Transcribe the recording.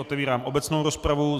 Otevírám obecnou rozpravu.